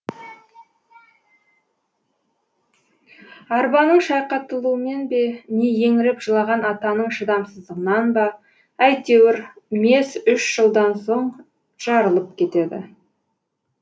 арбаның шайқатылуымен бе не еңіреп жылаған атаның шыдамсыздығынан ба әйтеуір мес үш жылдан соң жарылып кетеді